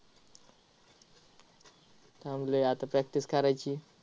थांबलोय आता, practice करायची आहे.